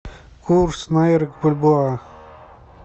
курс найра к бальбоа